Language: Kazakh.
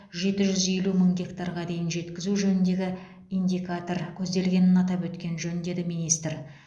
жеті жүз елу мың гектарға дейін жеткізу жөніндегі индикатор көзделгенін атап өткен жөн деді министр